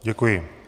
Děkuji.